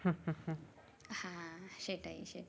হ্যাঁ সেটাই সেটাই